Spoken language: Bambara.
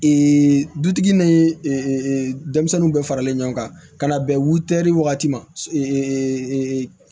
dutigi ni denmisɛnninw bɛ faralen ɲɔgɔn kan ka na bɛn wutɛri wagati ma